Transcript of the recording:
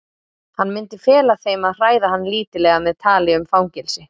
Hann myndi fela þeim að hræða hann lítillega með tali um fangelsi.